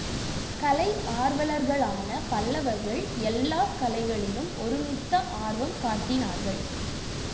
கலை ஆர்வலர்களான பல்லவர்கள் எல்லா கலைகளிலும் ஒருமித்த ஆர்வம் காட்டினார்கள்